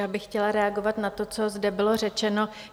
Já bych chtěla reagovat na to, co zde bylo řečeno.